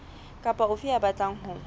kapa ofe ya batlang ho